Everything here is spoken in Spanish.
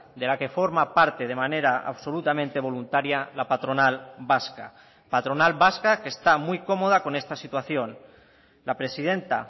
de la que forma parte de manera absolutamente voluntaria la patronal vasca patronal vasca que está muy cómoda con esta situación la presidenta